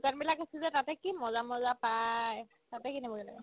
দোকানবিলাক আছে যে তাতে কি মজা মজা পাই তাতে কিনিবগে লাগে